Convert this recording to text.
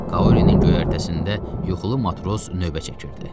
Kaurinin göyərtəsində yuxulu matros növbə çəkirdi.